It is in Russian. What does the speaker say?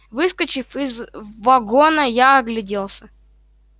выскочив из вагона я огляделся